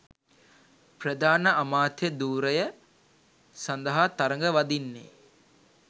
ප්‍රධාන අමාත්‍ය ධුරය සඳහා තරග වදින්නේ